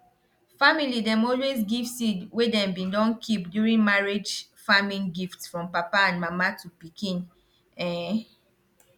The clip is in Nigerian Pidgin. family dem always give seed wey dem bin don keep during marriage farming gift from papa and mama to pikin um